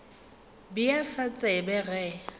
be a sa tsebe ge